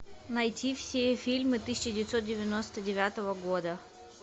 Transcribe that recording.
найти все фильмы тысяча девятьсот девяносто девятого года